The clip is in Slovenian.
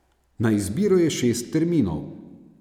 Na izbiro je šest terminov.